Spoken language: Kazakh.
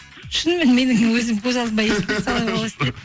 шынымен менің өзім көз алдыма